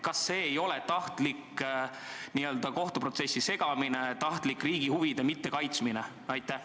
Kas see ei ole tahtlik kohtuprotsessi segamine, tahtlik riigi huvide mittekaitsmine?